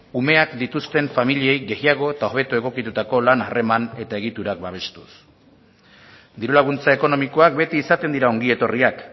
umeak dituzten familiei gehiago eta hobetu egokitutako lan harreman eta egiturak babestuz diru laguntza ekonomikoak beti izaten dira ongietorriak